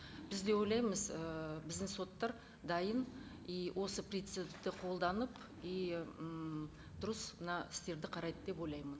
біз де ойлаймыз ыыы біздің соттар дайын и осы принципті қолданып и м дұрыс мына істерді қарайды деп ойлаймын